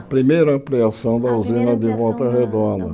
A primeira ampliação da A primeira Usina de Volta Redonda.